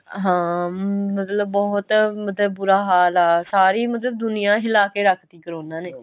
ਹਾਂ ਮਤਲਬ ਬਹੁਤ ਮਤਲਬ ਬੁਰਾ ਹਾਲ ਆ ਸਾਰੀ ਮਤਲਬ ਦੁਨੀਆ ਹਿਲਾ ਕੇ ਰੱਖ ਤੀ ਕਰੋਨਾ ਨੇ